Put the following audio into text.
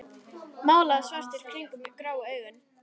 Málaður svartur kringum grá augun.